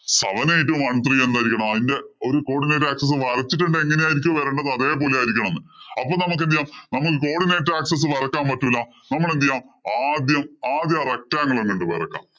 seven eight one three എന്നായിരിക്കണം. അതിന്‍റെ ഒരു codinate axis വരച്ചിട്ടുണ്ടെങ്കി എങ്ങനെ ആയിരിക്കും വരണ്ടത് അതേപോലെ ആയിരിക്കണം. അപ്പൊ നമുക്ക് എന്തു ചെയ്യാം നമുക്ക് codinate axis വരയ്ക്കാന്‍ പറ്റൂല. നമ്മള്‍ എന്തു ചെയ്യാം ആദ്യം ആദ്യം ആ rectangle അങ്ങോട്ട്‌ വരയ്ക്കാം.